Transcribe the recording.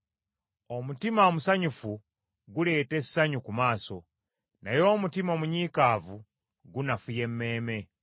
Omutima omusanyufu guleeta essanyu ku maaso, naye omutima omunyiikaavu gunafuya emmeeme.